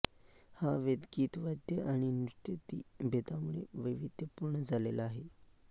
हा वेद गीत वाद्य आणि नृत्यादी भेदांमुळे वैविध्यपूर्ण झालेला आहे